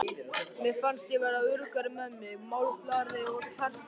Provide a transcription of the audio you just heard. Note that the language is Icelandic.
Mér fannst ég verða öruggari með mig, málglaðari og kjarkmeiri.